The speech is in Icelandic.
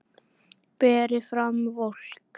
Berið fram volgt.